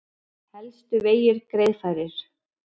Helstu vegir greiðfærir